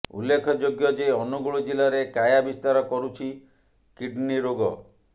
ଉଲ୍ଲେଖଯୋଗ୍ୟ ଯେ ଅନୁଗୁଳ ଜିଲ୍ଲାରେ କାୟା ବିସ୍ତାର କରୁଛି କିଡ୍ନି ରୋଗ